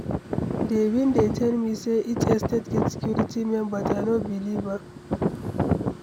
Dey bin dey tell me say each estate get security men but I no believe am.